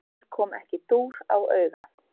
Mér kom ekki dúr á auga.